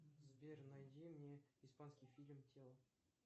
сбер найди мне испанский фильм тело